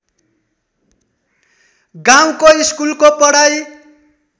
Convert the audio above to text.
गाउँको स्कुलको पढाइ